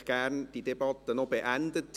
Ich hätte diese Debatte gerne noch beendet.